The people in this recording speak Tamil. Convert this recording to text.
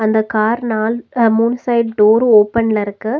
இந்த கார் நால் அ மூண் சைடு டோரு ஓபன்ல இருக்கு.